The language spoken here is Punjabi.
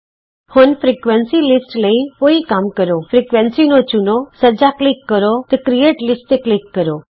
ਹੁਣ ਫ੍ਰੀਕੁਏਂਸੀ ਲਿਸਟ ਲਈ ਉਹੀ ਕੰਮ ਕਰੋਫ੍ਰੀਕੁਏਂਸੀ ਨੂੰ ਚੁਣੋ ਸੱਜਾ ਕਲਿਕ ਕਰੋ ਤੇ ਕ੍ਰਿਏਟ ਲਿਸਟ ਤੇ ਕਲਿਕ ਕਰੋ